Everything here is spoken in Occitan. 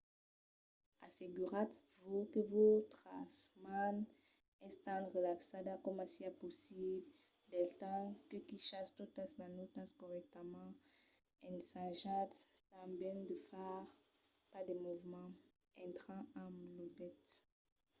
asseguratz-vos que vòstra man es tan relaxada coma siá possible del temps que quichatz totas las nòtas corrèctament - ensajatz tanben de far pas de movements estranhs amb los dets